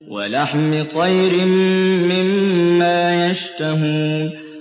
وَلَحْمِ طَيْرٍ مِّمَّا يَشْتَهُونَ